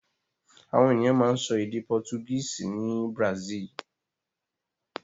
Àwọn ènìyàn máa ń sọ èdè Portuguese ní Brazil.